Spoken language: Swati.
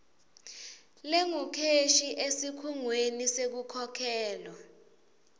lengukheshi esikhungweni sekukhokhelwa